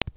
ଏଥରେ